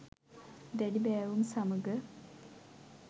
දැඩි බෑවුම් සමග